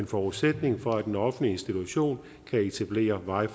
forudsætning for at den offentlige institution kan etablere wi